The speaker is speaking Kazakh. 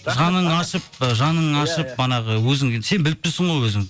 жаның ашып і манағы өзің сен біліп тұрсың ғой өзің